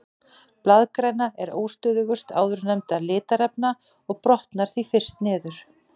Blaðgræna er óstöðugust áðurnefndra litarefna og brotnar því fyrst niður.